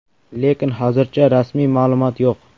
Lekin hozircha rasmiy ma’lumot yo‘q.